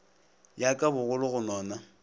ya ka bogolo go nona